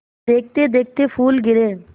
देखते देखते फूल गिरे